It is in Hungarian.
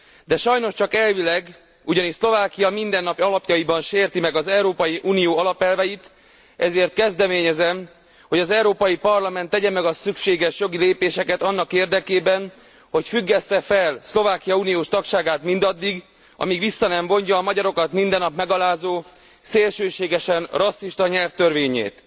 De sajnos csak elvileg, ugyanis Szlovákia mindennap alapjaiban sérti meg az Európai Unió alapelveit, ezért kezdeményezem, hogy az Európai Parlament tegye meg a szükséges jogi lépéseket annak érdekében, hogy függessze fel Szlovákia uniós tagságát mindaddig, amíg vissza nem vonja a magyarokat mindennap megalázó szélsőségesen rasszista nyelvtörvényét.